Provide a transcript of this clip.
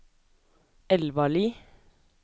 Elvarli